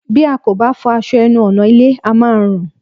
Bí a kò bá fọ aṣọ ẹnu ọ̀nà ilé, á máa rùn